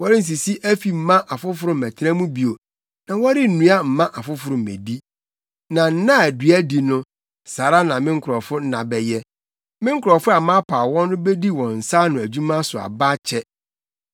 Wɔrensisi afi mma afoforo mmɛtena mu bio, na wɔrennua mma afoforo mmedi. Na nna a dua di no, saa ara na me nkurɔfo nna bɛyɛ; me nkurɔfo a mapaw wɔn no bedi wɔn nsa ano adwuma so aba akyɛ.